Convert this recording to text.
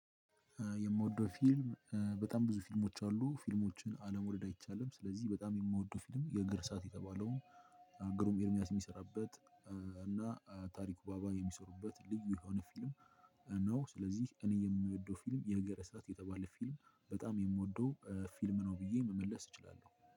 የምወደው ፊልም በጣም ብዙ ፊልሞች አሉ ፊልሞችን አለመውደድ አይቻልም ስለዚህ በጣም የምወደው ፊልም የእግር እሳት የተባለው ግሩም ኤርሚያስ የሚሰራበት እና ታሪኩ አብረው የሚሰሩበት ልዩ የሆነ ፊልም ነው። ስለዚህ እኔ የምወደው ፊልም የእግር እሳት የተባለ ፊልም በጣም የምወደው ፊልም ነው ብዬ መመለስ እችላለሁ